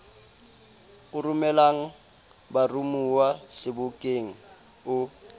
o romelang baromuwa sebokeng o